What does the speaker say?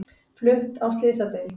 Flutt á slysadeild